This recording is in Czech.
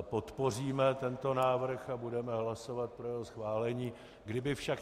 podpoříme tento návrh a budeme hlasovat pro jeho schválení.